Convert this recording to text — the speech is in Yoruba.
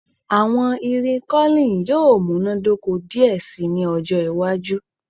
Awọn irin curling yoo munadoko diẹ sii ni ọjọ iwaju